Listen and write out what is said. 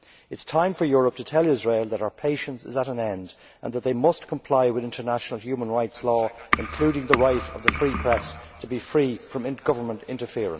It is time for Europe to tell Israel that our patience is at an end and that they must comply with international human rights law, including the right of the free press to be free from government interference.